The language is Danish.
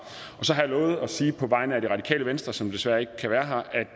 så har jeg lovet at sige på vegne af det radikale venstre som desværre ikke kan være her